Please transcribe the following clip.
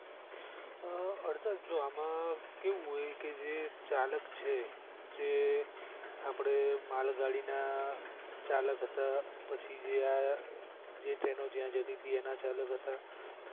અ હર્ષદ આમાં કેવું હોય કે જે ચાલક છે જે આપણે માલગાડી ના ચાલક હતા પછી જે ટ્રેનો જ્યાં જાતિથી તેના ચાલક હતા